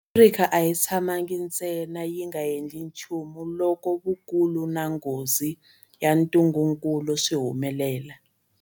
Afrika a yi nga tshamangi ntsena yi nga endli nchumu loko vukulu na nghozi ya ntungukulu swi humelela.